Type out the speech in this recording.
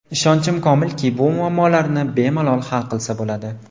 Ishonchim komilki, bu muammolarni bemalol hal qilsa bo‘ladi.